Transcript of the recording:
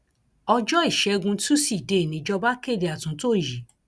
ọjọ ìṣègùn tùsídẹẹ níjọba kéde àtúntò yìí